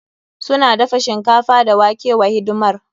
Suna dafa shinkafa da wake wa hidimar.